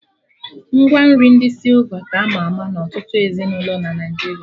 Ngwa nri ndi sịlva ka ama ama na ọtụtụ ezinụlọ na Naijiria